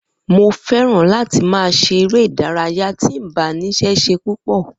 Mo feran láti ma ṣe eré ìdárayá ti mbá nise ṣe pupo